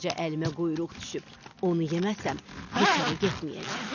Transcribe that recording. Yaxşıca əlimə quyruq düşüb, onu yeməsəm, heç hara getməyəcəm.